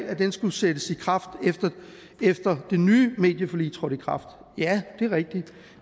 at den skulle sættes i kraft efter det nye medieforlig trådte i kraft ja det er rigtigt